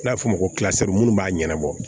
N'a bɛ f'o ma ko minnu b'a ɲɛnabɔ